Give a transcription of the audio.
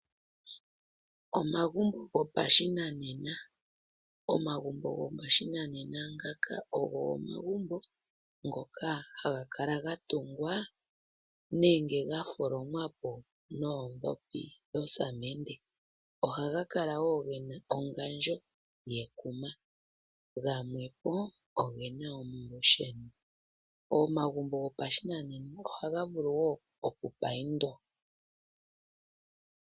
Omagumbo gopashinanena, omagumbo gopashinanena ngaka ogo omagumbo ngoka haga kala gatungwa nenge gatholomwa po noodhopi nosamende. Ohaga kala wo gena ongandjo yekuma, gamwepo ogena omalusheno. Omagumbo gopashinanena ohaga vulu wo okupaindwa.